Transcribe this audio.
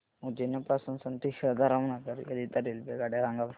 उज्जैन पासून संत हिरदाराम नगर करीता रेल्वेगाड्या सांगा बरं